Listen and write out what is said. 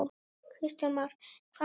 Kristján Már: Hvað næst?